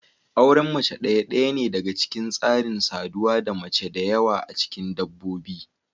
Auren mace ɗaya ɗaya ne daga cikin tsarin saduwa da mace da yawa a cikin dabbobi.